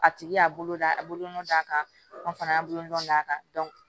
A tigi y'a bolo da a bolonɔ d'a kan an fana y'a bolonɔn d'a kan